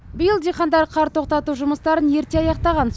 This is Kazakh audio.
биыл диқандар қар тоқтату жұмыстарын ерте аяқтаған